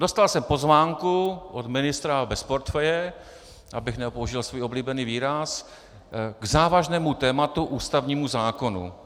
Dostal jsem pozvánku od ministra bez portfeje, abych nepoužil svůj oblíbený výraz, k závažnému tématu, ústavnímu zákonu.